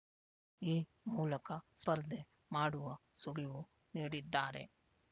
ಈ ಮೂಲಕ ಸ್ಪರ್ಧೆ ಮಾಡುವ ಸುಳಿವು ನೀಡಿದ್ದಾರೆ